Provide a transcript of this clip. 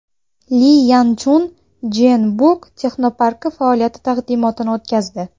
Li Yan Chun Jeonbuk texnoparki faoliyati taqdimotini o‘tkazdi.